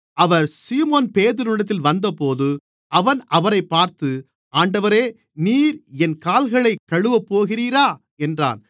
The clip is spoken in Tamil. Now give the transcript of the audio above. அவர் சீமோன் பேதுருவினிடத்தில் வந்தபோது அவன் அவரைப் பார்த்து ஆண்டவரே நீர் என் கால்களைக் கழுவப்போகிறீரா என்றான்